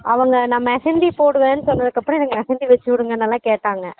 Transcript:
அவங்க நான் mehandi போடுவேன் சொன்னதுக் அப்பறம் mehandi வச்சு விடுங்கனுலாம் கேட்டாங்க